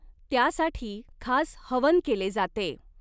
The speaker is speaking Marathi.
त्यासाठी खास हवन केले जाते.